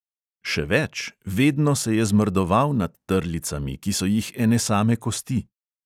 Še več, vedno se je zmrdoval nad trlicami, ki so jih ene same kosti.